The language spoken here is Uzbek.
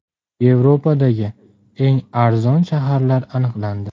Yevropadagi eng arzon shaharlar aniqlandi.